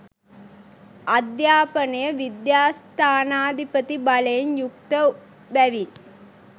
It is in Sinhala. අධ්‍යාපනය විද්‍යස්ථානාධිපති බලයෙන් යුක්ත බැවින්